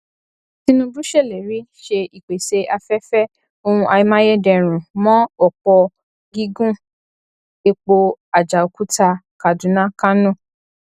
tinubu ṣèlérí ṣe ìpèsè afẹfẹ ohun amáyédẹrùn mọ òpó gígùn epo ajaokutakadunakano